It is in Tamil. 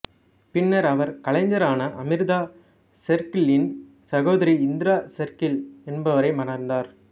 பின்னர் அவர் கலைஞரான அமிர்தா ஷெர்கில்லின் சகோதரி இந்திரா ஷெர்கில் என்பவரை மணந்தார்